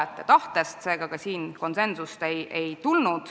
Seega ei tulnud ka siin konsensust.